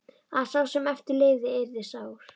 Að sá sem eftir lifði yrði sár.